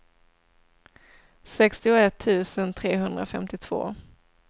sextioett tusen trehundrafemtiotvå